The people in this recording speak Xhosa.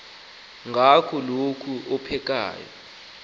ngaba kukho ophekayo